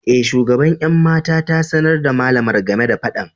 E, shugaban 'yan mata ta sanar da malamar game da fadan.